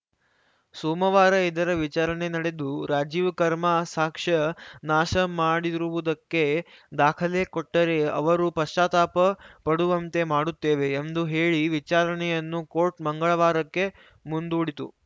ಸೋಮವಾರ ಇದರ ವಿಚಾರಣೆ ನಡೆದು ರಾಜೀವ್‌ ಕರ್‌ಮ ಸಾಕ್ಷ್ಯ ನಾಶ ಮಾಡಿರುವುದಕ್ಕೆ ದಾಖಲೆ ಕೊಟ್ಟರೆ ಅವರು ಪಶ್ಚಾತ್ತಾಪ ಪಡುವಂತೆ ಮಾಡುತ್ತೇವೆ ಎಂದು ಹೇಳಿ ವಿಚಾರಣೆಯನ್ನು ಕೋರ್ಟ್‌ ಮಂಗಳವಾರಕ್ಕೆ ಮುಂದೂಡಿತು